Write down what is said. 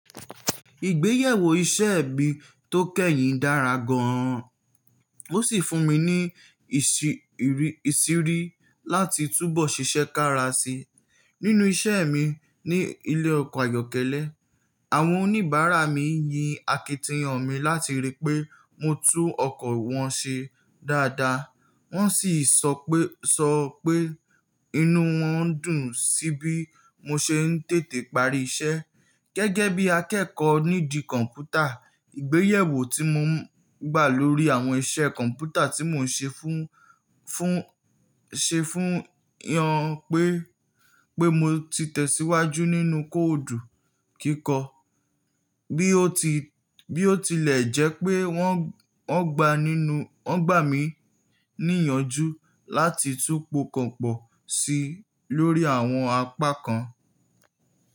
Ìgbéyàwó iṣẹ́ ẹbí tó kẹ́yìn dára gan, ó sì fún mi ní ìsìrí láti túbọ̀ ṣiṣẹ́ kára sí i nínú iṣẹ́ mi ní ilé ọkọ̀ ayọ́kẹ́lẹ́. Àwọn oníbàárà mi yin akitiyan mi láti rí pé mo tún ọkọ̀ wọn ṣe dáadáa, wọ́n sì so pe sọ pé inú wọn dùn sí bí mo ṣe ń tètè parí iṣẹ́. Gẹ́gẹ́ bí akẹ́kọ̀ọ́ nídìí kọ̀m̀pútà, ìgbéyàwó tí mo gbà lórí àwọn iṣẹ́ kọ̀m̀pútà tí mò ń ṣe fun fun se fún wọn pé mo ti tẹ̀síwájú nínú kóòdù kíkọ, bi o bí ó tilẹ̀ jẹ́ pé wọ́n gbà ninu won gbà mí ní ìyànjú láti tú po kan pọ̀ sí i lórí àwọn apá kan.